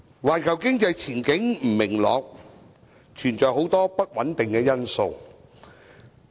環球經濟前景不明朗，存在很多不穩定因素。